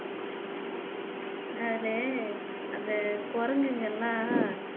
அந்த குரங்குங்க எல்லாம்